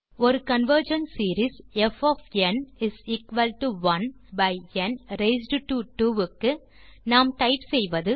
ஒரு convergent series f1 by n raised to 2 க்கு நாம் typeசெய்வது